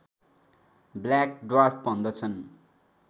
black dwarf भन्दछन्